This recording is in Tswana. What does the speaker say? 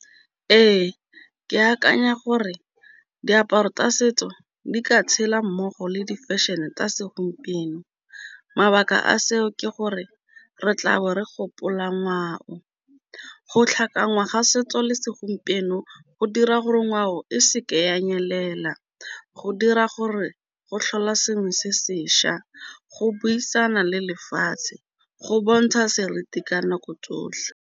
Ee, ke akanya gore diaparo tsa setso di ka tshela mmogo le di-fashion-e tsa segompieno, mabaka a seo ke gore re tlabo re gopola ngwao, go tlhakanya ga setso le segompieno, go dira gore ngwao e seke ya nyelela, go dira gore go tlhola sengwe se sešwa, go buisana le lefatshe, go bontsha seriti ka nako tsotlhe.